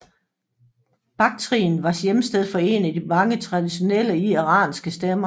Baktrien var hjemsted for en af de traditionelle iranske stammer